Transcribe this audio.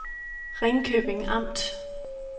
Ringkøbing Amt